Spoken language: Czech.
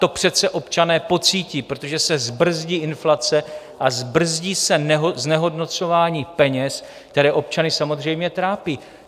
To přece občané pocítí, protože se zbrzdí inflace a zbrzdí se znehodnocování peněz, které občany samozřejmě trápí.